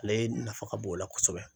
Ale nafa ka bon o la kosɛbɛ